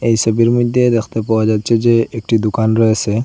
এই সোবির মইধ্যে দেখতে পাওয়া যাচ্ছে যে একটি দুকান রয়েসে।